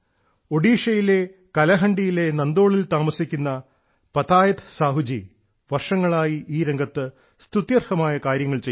ഒഡീഷയിലെ കലഹണ്ഡിയിലെ നന്ദോളിൽ താമസിക്കുന്ന ശ്രീ പതായത്ത് സാഹു വർഷങ്ങളായി ഈ രംഗത്ത് സ്തുത്യർഹമായ കാര്യങ്ങൾ ചെയ്യുന്നു